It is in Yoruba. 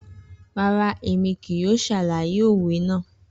Rara, Emi kii yoo ṣalaye owe naa.